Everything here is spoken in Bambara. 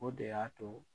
O de y'a to